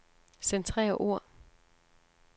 Centrer ord.